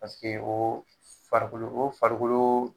Paseke o farikolo o farikolo